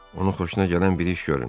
Onun xoşuna gələn bir iş görün.